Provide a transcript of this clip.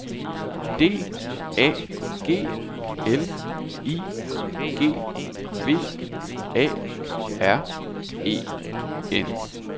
D A G L I G V A R E N